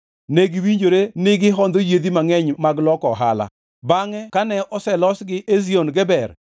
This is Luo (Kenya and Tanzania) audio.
Ne giwinjore ni gihondho yiedhi mangʼeny mag loko ohala. Bangʼe kane oselosgi Ezion Geber,